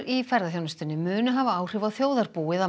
í ferðaþjónustunni munu hafa áhrif á þjóðarbúið að